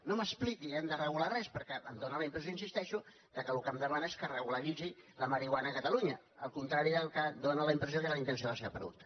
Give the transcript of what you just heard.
no m’expliqui que hem de regular res perquè em dóna la impressió hi insisteixo que el que em demana és que regularitzi la marihuana a catalunya al contrari del que dóna la impressió que era la intenció de la seva pregunta